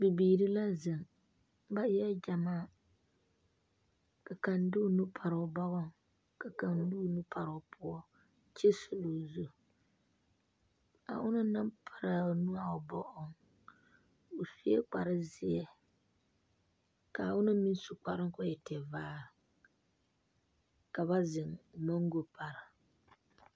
Bibiiri la zeŋ ba eɛ gyamaa ka kaŋ de o nu pare o bɔgɔŋ ka kaŋ de o nu pare o poɔ kyɛ suli o zu a onaŋ naŋ pare a o nu a o bɔgɔŋ o sue kparezeɛ k,a onaŋ meŋ su kparoo k,o e tevaare ka ba zeŋ mɔngo pare.